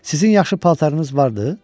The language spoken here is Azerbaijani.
Sizin yaxşı paltarınız vardı?